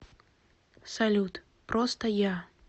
салют просто я